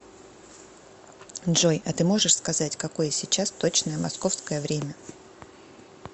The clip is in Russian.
джой а ты можешь сказать какое сейчас точное московское время